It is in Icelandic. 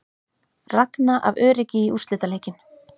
Ragna af öryggi í úrslitaleikinn